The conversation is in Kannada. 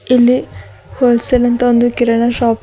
ಇಲ್ಲಿ ಹೋಲ್ಸೇಲ್ ಅಂತ ಒಂದು ಕಿರಣ ಶಾಪ್ ಇದ್--